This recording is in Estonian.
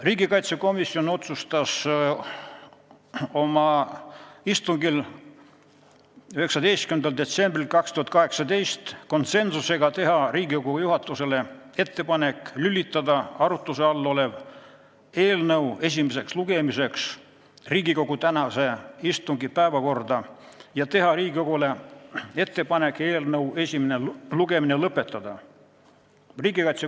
Riigikaitsekomisjon otsustas oma 19. detsembri istungil konsensusega teha Riigikogu juhatusele ettepaneku lülitada eelnõu esimeseks lugemiseks tänase istungi päevakorda ja teha Riigikogule ettepanek eelnõu esimene lugemine lõpetada.